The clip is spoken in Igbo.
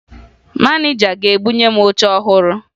Maneja ga-ebunye m oche ọhụrụ